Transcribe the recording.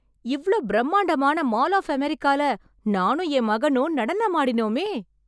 இவ்ளோ பிரமாண்டமான mall of அமெரிக்கால நானும் என் மகனும் நடனம் ஆடினோமே...